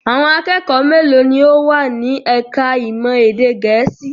Àwọn akẹ́kọ̀ọ́ mélòó ni ó wà ní ẹ̀ka-ìmọ̀ èdè Gẹ̀ẹ́sì?